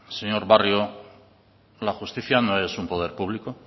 señor barrio la justicia no es un poder público